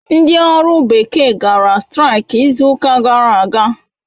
Ndị ọrụ bekee gara straik izuụka gara aga.